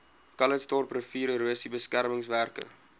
calitzdorp riviererosie beskermingswerke